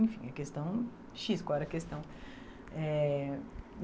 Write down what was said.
Enfim, a questão... xis, qual era a questão? Eh